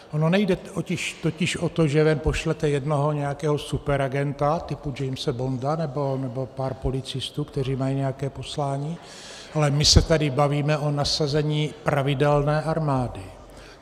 Ono nejde totiž o to, že ven pošlete jednoho nějakého superagenta typu Jamese Bonda nebo pár policistů, kteří mají nějaké poslání, ale my se tady bavíme o nasazení pravidelné armády.